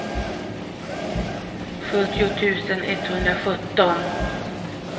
sjuttio tusen etthundrasjutton